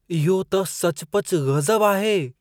इहो त सचुपचु गज़ब आहे!